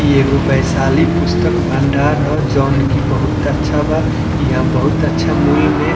ई एगो बैशाली पुस्तक भंडार हअ जोन की बहुत अच्छा बा इहाँ बहुत अच्छा मूल में --